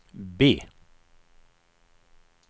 B